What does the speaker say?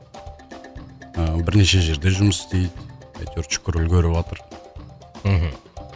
ыыы бірнеше жерде жұмыс істейді әйтеуір шүкір үлгеріватыр мхм